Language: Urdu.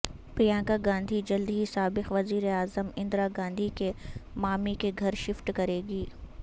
پرینکا گاندھی جلد ہی سابق وزیر اعظم اندرا گاندھی کے مامی کے گھر شفٹ کریںگی